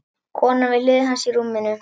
Konan við hlið hans í rúminu.